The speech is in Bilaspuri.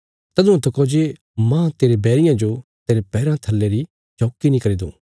तदुआं तका जे माह तेरे बैरियां जो तेरे पैराँ थल्ले री चौकी नीं करी दूँ